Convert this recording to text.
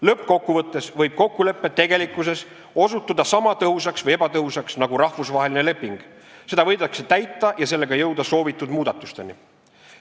Lõppkokkuvõttes võib kokkulepe tegelikkuses osutuda sama tõhusaks või ebatõhusaks nagu rahvusvaheline leping, seda võidakse täita ja sellega jõuda soovitud muudatusteni.